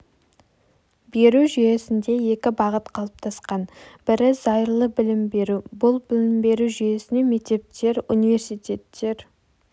беру жүйесінде екі бағыт қалыптасқан бірі зайырлы білім беру бұл білім беру жүйесіне мектептер университеттер